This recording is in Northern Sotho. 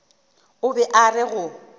o be a re go